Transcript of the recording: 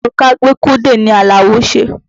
Òrùka gbékúdè ni Àlàó ṣe.